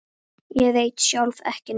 Ég veit sjálf ekki neitt.